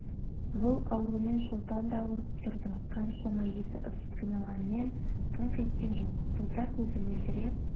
бұл аурумен шолпан да ауырып тұрды қаншама еті ысып қиналғанымен қыңқ еткен жоқ бота көзі мөлдіреп